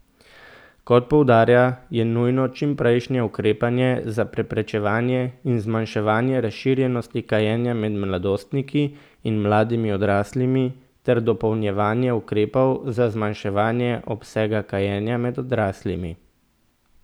Kot poudarja, je nujno čimprejšnje ukrepanje za preprečevanje in zmanjševanje razširjenosti kajenja med mladostniki in mladimi odraslimi, ter dopolnjevanje ukrepov za zmanjševanje obsega kajenja med odraslimi.